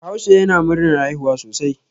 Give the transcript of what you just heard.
Bahaushe yana murnar haihuwa sosai.